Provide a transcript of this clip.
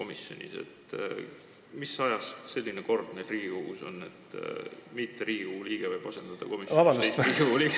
Mis ajast on meil Riigikogus selline kord, et mitte Riigikogu liige võib komisjoni liiget asendada?